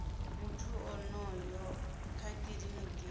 muthu onoyo kha kiliniki ya